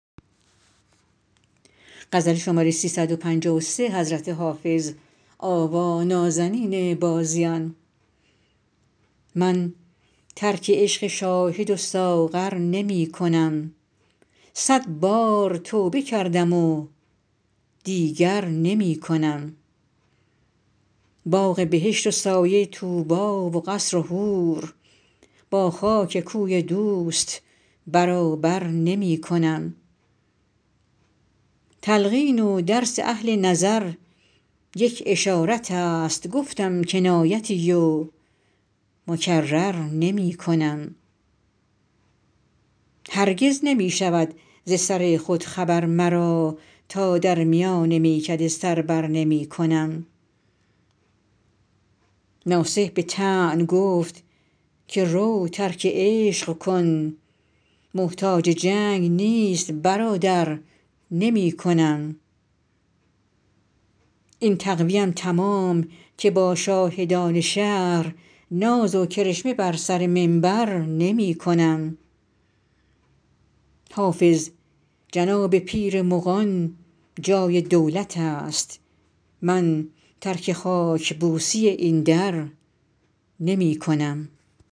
من ترک عشق شاهد و ساغر نمی کنم صد بار توبه کردم و دیگر نمی کنم باغ بهشت و سایه طوبی و قصر و حور با خاک کوی دوست برابر نمی کنم تلقین و درس اهل نظر یک اشارت است گفتم کنایتی و مکرر نمی کنم هرگز نمی شود ز سر خود خبر مرا تا در میان میکده سر بر نمی کنم ناصح به طعن گفت که رو ترک عشق کن محتاج جنگ نیست برادر نمی کنم این تقوی ام تمام که با شاهدان شهر ناز و کرشمه بر سر منبر نمی کنم حافظ جناب پیر مغان جای دولت است من ترک خاک بوسی این در نمی کنم